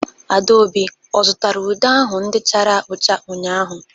Adaobi ọ zụtara ude ahụ ndị chara ụcha ụnyahụ?